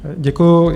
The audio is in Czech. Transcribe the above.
Děkuji.